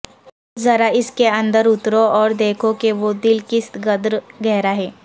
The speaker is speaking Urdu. ذرا اس کے اندر اترو اور دیکھو کہ وہ دل کس قدر گہرا ہے